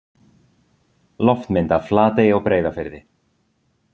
Loftmynd af Flatey á Breiðafirði.